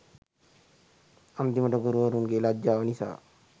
අන්තිමට ගුරුවරුන්ගෙ ලැජ්ජාව නිසා